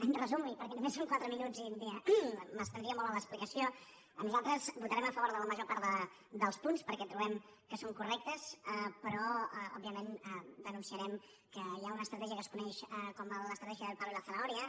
en resum i perquès només són quatre minuts i m’estendria molt en l’explicació nosaltres votarem a favor de la major part dels punts perquè trobem que són correctes però òbviament denunciarem que hi ha una estratègia que es coneix com l’estratègia del palo y la zanahoria